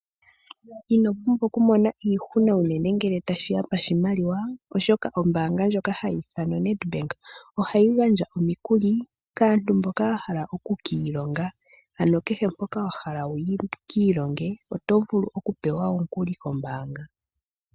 Inopumbwa okumona iihuna unene ngele tashiya pashimaliwa oshoka ombaanga ndjoka hayi ithanwa o NEDBANK ohayi gandja omikuli kaantu mboka yahala okukiilonga. Ano kehe ngoka wahala wukiilonge oto vulu okupewa omukuli ko mbaanga.